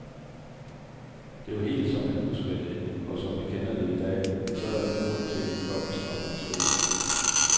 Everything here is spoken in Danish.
Det var helt, som han huskede det, og som vi kender det i dag, så der er ingen grund til en blomstrende beskrivelse.